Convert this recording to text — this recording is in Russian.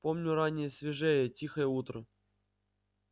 помню раннее свежее тихое утро